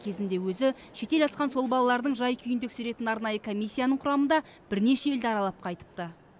кезінде өзі шетел асқан сол балалардың жай күйін тексеретін арнайы комиссияның құрамында бірнеше елді аралап қайтыпты